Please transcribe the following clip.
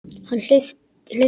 Hlauptu apríl.